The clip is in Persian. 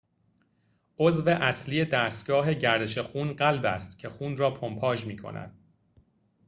عضو اصلی دستگاه گردش خون قلب است که خون را پمپاژ می‌کند